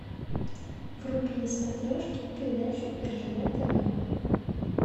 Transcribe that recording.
вруби на смотрешке передачу ржд тв